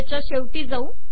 याच्या शेवटी जाऊ